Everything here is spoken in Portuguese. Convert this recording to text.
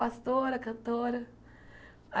Pastora, cantora.